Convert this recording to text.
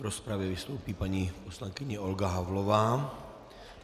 V rozpravě vystoupí paní poslankyně Olga Havlová.